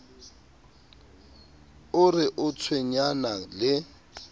o re o tshwenyana le